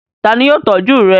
Ta ni yóò tọ́jú rẹ̀?